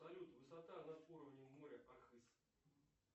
салют высота над уровнем моря архыз